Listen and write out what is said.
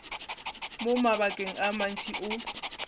mo mabakeng a mantši o